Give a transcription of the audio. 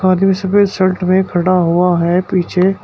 आदमी सफेद शर्ट में खड़ा हुआ है पीछे।